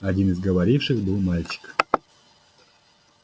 один из говоривших был мальчик